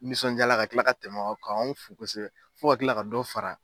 Nisɔndiyala ka kila ka tɛmɛ, k'an fo kosɛbɛ, fo ka kila ka dɔ fara